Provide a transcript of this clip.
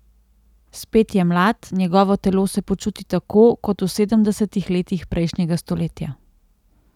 Spet je mlad, njegovo telo se počuti tako, kot v sedemdesetih letih prejšnjega stoletja.